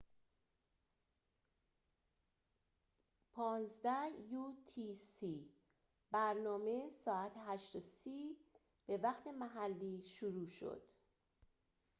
برنامه ساعت 8:30 به وقت محلی شروع شد 15.00 utc